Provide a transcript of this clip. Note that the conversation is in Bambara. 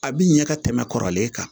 A bi ɲɛ ka tɛmɛ kɔrɔlen kan